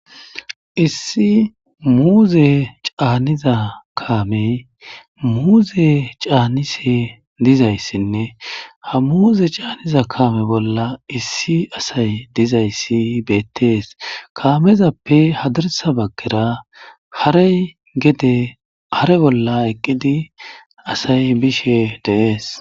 issi muuze caaniza kaamey muuze caanise dizayssinne ha muuze caaniza kaame bolla issi asay dizayssi beettees kaamezappe hadirsa bagkera haray gede hare bolla eqqidi asay bishe deees